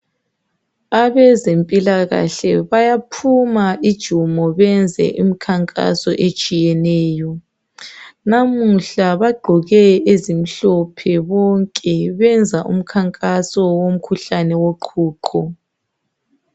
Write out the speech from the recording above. Abezempilakahle bayaphuma ijumo benze imikhankaso etshiyeneyo. Namuhla bagqoke ezimhlophe bonke benza umkhankaso womkhuhlane woqhuqho.